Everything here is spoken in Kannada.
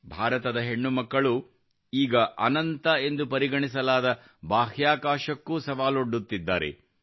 ಭಾರತದ ಹೆಣ್ಣುಮಕ್ಕಳು ಈಗ ಅನಂತ ಎಂದು ಪರಿಗಣಿಸಲಾದ ಬಾಹ್ಯಾಕಾಶಕ್ಕೂ ಸವಾಲೊಡ್ಡುತ್ತಿದ್ದಾರೆ